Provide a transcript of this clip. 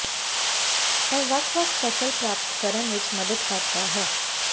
ਇਹ ਵੱਖ ਵੱਖ ਫਸਲ ਪ੍ਰਾਪਤ ਕਰਨ ਵਿੱਚ ਮਦਦ ਕਰਦਾ ਹੈ